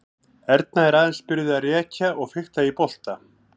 Erna er aðeins byrjuð að rekja og fikta í bolta.